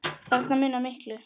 Þarna munar miklu.